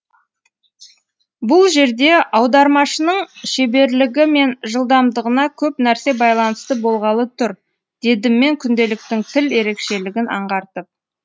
бұл жерде аудармашының шеберлігі мен жылдамдығына көп нәрсе байланысты болғалы тұр дедім мен күнделіктің тіл ерекшелігін аңғартып